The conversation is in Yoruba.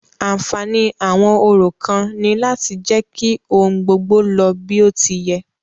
Ànfààní àwọn orò kan ní láti jẹ́ kí ohun gbogbo lọ bí o ti yẹ.